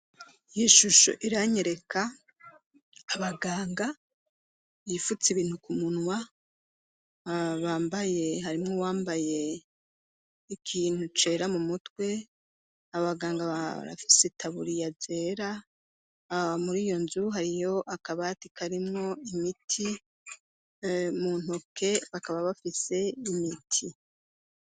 iyi shusho iranyereka abaganga yifutse ibintu kumunwa bambaye harimwo wambaye ikintu cera mu mutwe abaganga barafise itaburiya zera muri iyo nzu hariyo akabatika arimwo imiti mu ntoke bakaba bafise imiti